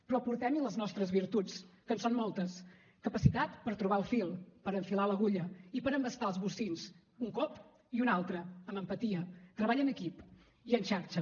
però aportem hi les nostres virtuts que en són moltes capacitat per trobar el fil per enfilar l’agulla i per embastar els bocins un cop i un altre amb empatia treball en equip i en xarxa